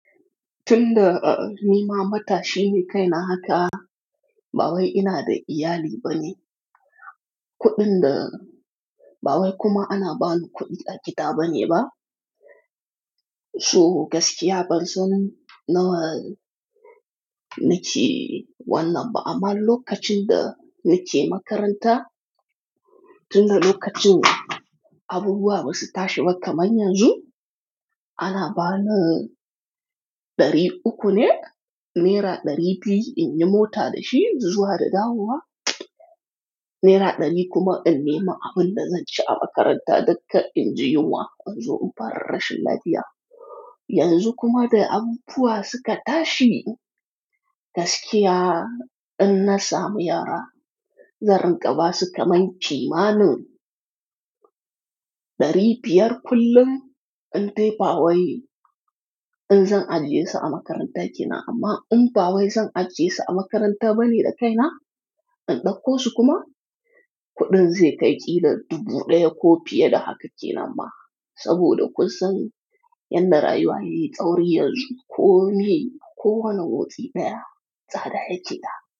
Tun da, ni ma mata shine kaina haka, ba wai ina da iyali bane. Kuɗin da-- ba wai kuma ana bani kuɗi a gida bane ba. So gaskiya ban san nawa nake, wallah ba amma lokacin da nake makaranta, tun da lokacin abubuwa ba su tashi ba kamar yanzu, ana bani ɗari uku ne, naira ɗari biyu in yi mota da shi zuwa da dawowa, naira ɗari kuma in nema abin da zan ci a makaranta dukka in ji yunwa, an zo in fara rashin lafiya. Yanzu kuma da abubuwa suka tashi gaskiya in na samu yara, zaran ƙaba suka main ki ma ne. Ɗari biyar kullum in tafi ba wai in zan ajiye su a makarantarki na amma in ba wai zan ajiye su a makaranta bane da kaina. In ɗauko su kuma, kuɗin zai kai ƙila dubu ɗaya ko fiye da haka kina amma saboda kusan yan da rayuwa yayi tsauri yanzu ko me ko wane motsi ɗaya tsada yake da.